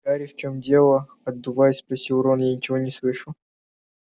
гарри в чём дело отдуваясь спросил рон я ничего не слышу